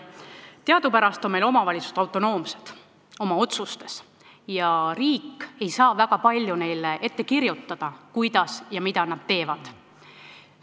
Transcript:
Teadupärast on meil omavalitsused oma otsustes autonoomsed ja riik ei saa väga palju neile ette kirjutada, kuidas ja mida nad tegema peavad.